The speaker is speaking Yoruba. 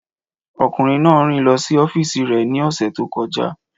Ọkùnrin náà rìn lọ sí ọ́fíìsì rẹ̀ ní ọ̀sẹ̀ tó kọjá.